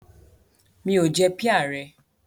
Mi ò jẹ píà rẹ.